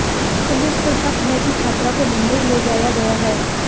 police को शक है कि छात्रा को मुंबई ले जाया गया है